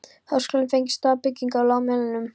Háskólinn fengi stóra byggingarlóð á Melunum.